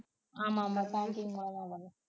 ஆமாம் ஆமாம் banking மூலமா வரும்